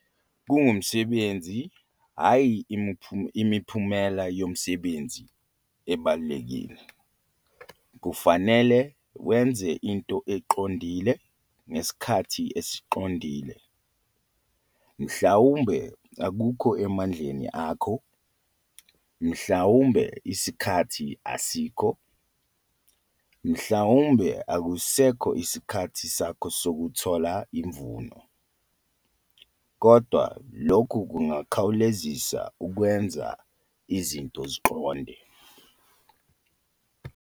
Grabber- Kungumsebenzi, hhayi umphumelo womsebenzi okubalulekile. Kufanele wenze into eqondile ngesikhathi esiqondile. Mhlawumbe akukho emandleni akho, mhlawumbe isikhathi asikho, mhlawumbe akusekho esikhathini sakho sokuthola umvuno. Kodwa lokhu kungakukhawulisa ukwenza izinto ezinto eziqondile.